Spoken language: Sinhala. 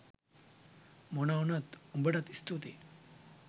මොනා වුනත් උඹටත් ස්තූතියි